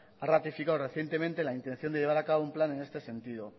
ha ratificado recientemente la intención de llevar a cabo un plan en este sentido